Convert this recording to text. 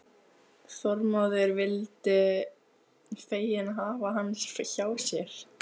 Þormóður vildu fegin hafa hann hjá sér.